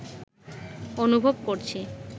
অনুভব করছি